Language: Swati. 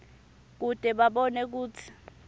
kute babone kutsi